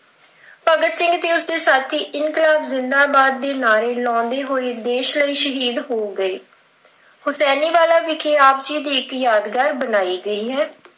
ਭਗਤ ਸਿੰਘ ਤੇ ਉਸ ਦੇ ਸਾਥੀ ਇਨਕਲਾਬ ਜਿੰਦਾਬਾਦ ਦੇ ਨਾਅਰੇ ਲਾਉਂਦੇ ਹੋਏ ਸ਼ਹੀਦ ਹੋ ਗਏ। ਹੁਸੈਨੀਵਾਲਾ ਵਿਖੇ ਆਪ ਜੀ ਦੀ ਇੱਕ ਯਾਦਗਰੀ ਬਣਾਈ ਗਈ ਹੈ।